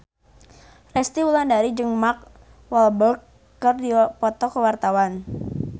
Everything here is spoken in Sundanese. Resty Wulandari jeung Mark Walberg keur dipoto ku wartawan